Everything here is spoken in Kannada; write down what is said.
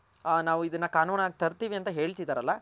ನಾವ್ ಇದನ್ನ ಕಾನೂನಾಗ್ ತರ್ತಿವಿ ಅಂತ ಹೇಳ್ತಿದರಲ.